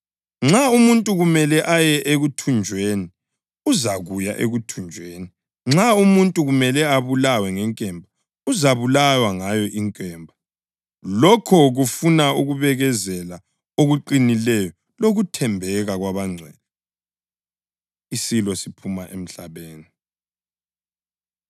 “Nxa umuntu kumele aye ekuthunjweni, uzakuya ekuthunjweni. Nxa umuntu kumele abulawe ngenkemba, uzabulawa ngayo inkemba.” + 13.10 UJeremiya 15.2 Lokhu kufuna ukubekezela okuqinileyo lokuthembeka kwabangcwele. Isilo Siphuma Emhlabeni